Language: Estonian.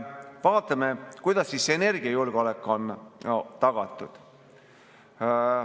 Vaatame, kuidas energiajulgeolek on tagatud.